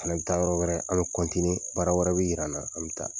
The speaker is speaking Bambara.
An bɛ taa yɔrɔ wɛrɛ an kɔntine baara wɛrɛ bɛ yira an na an bɛ taa.